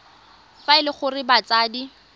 fa e le gore batsadi